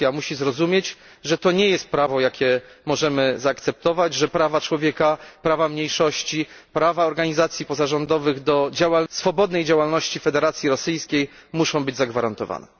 Rosja musi zrozumieć, że takiego prawa nie możemy zaakceptować, że prawa człowieka, prawa mniejszości, prawa organizacji pozarządowych do swobodnej działalności w Federacji Rosyjskiej muszą zostać zagwarantowane.